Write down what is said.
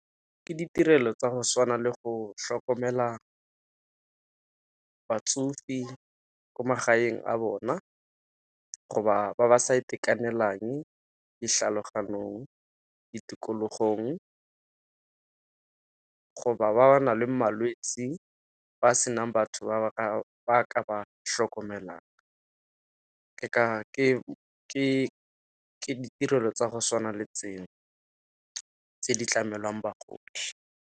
Ke ditirelo tsa go tshwana le go tlhokomela batsofe ko magaeng a bona, go ba ba sa itekanelang ditlhaloganyong, ditikologong, go ba ba ba nang le malwetse ba senang batho ba ka ba tlhokomelang. Ke ditirelo tsa go tshwana le tseo, tse di tlamelwang bagodi.